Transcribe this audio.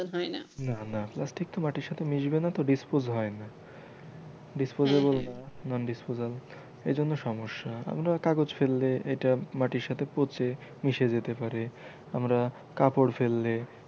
না না plastic তো মাটির সাথে মিসবে না তো dispose হয়না dispose হয়না non disposal এইজন্য সমস্যা আমরা কাগজ ফেললে এইটা মাটির সাথে পচে মিসে যেতে পারে আমরা কাপড় ফেললে,